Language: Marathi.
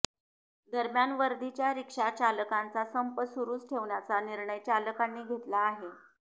दरम्यान वर्दीच्या रिक्षा चालकांचा संप सुरूच ठेवण्याचा निर्णय चालकांनी घेतला आहे